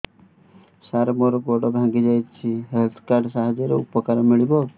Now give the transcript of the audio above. ସାର ମୋର ଗୋଡ଼ ଭାଙ୍ଗି ଯାଇଛି ହେଲ୍ଥ କାର୍ଡ ସାହାଯ୍ୟରେ ଉପକାର ମିଳିବ